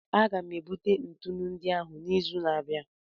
Aga m ebute ntụnụ ndị ahụ n'izu na-abịa.